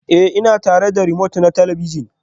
Ee, ina tare da romote na talabijin